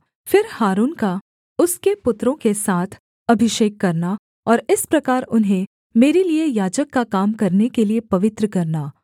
फिर हारून का उसके पुत्रों के साथ अभिषेक करना और इस प्रकार उन्हें मेरे लिये याजक का काम करने के लिये पवित्र करना